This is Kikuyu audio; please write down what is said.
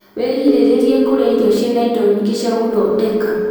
Wĩgirĩrĩrie kũrĩa irio ciĩna indo nyingĩ cia gũthondeka